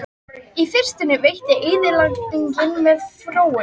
Í fyrstunni veitti eyðileggingin mér fróun.